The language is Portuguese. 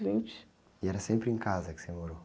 Vinte. era sempre em casa que você morou?